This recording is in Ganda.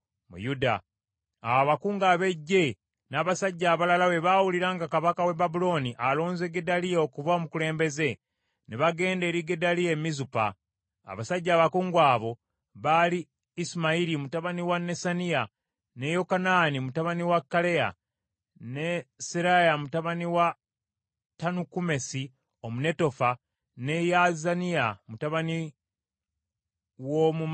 Awo abakungu ab’eggye n’abasajja abalala bwe baawulira nga kabaka w’e Babulooni alonze Gedaliya okuba omukulembeze, ne bagenda eri Gedaliya e Mizupa. Abasajja abakungu abo baali Isimayiri mutabani wa Nesaniya, ne Yokanaani mutabani wa Kaleya, ne Seraya mutabani wa Tanukumesi Omunetofa, ne Yaazaniya mutabani w’Omumaakasi.